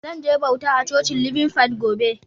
Zan je bauta a Cocin Living Faith gobe.